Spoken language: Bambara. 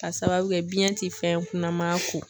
Ka sababu kɛ biyɛn ti fɛn kunnama ku.